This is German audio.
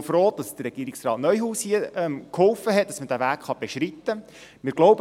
Wir sind auch froh, dass Regierungsrat Neuhaus hier geholfen hat, dass man diesen Weg beschreiten kann.